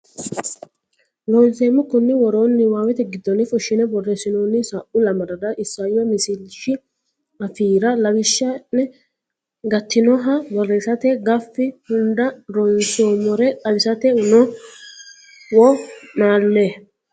Loonseemmo konni woroonni niwaawete giddonni fushshine borreessinoonni sa u lamalara isayyo misilshi afiira lawishsha ine gatinoha borreessate gafi hunda ronsommore xawisate wo naalle.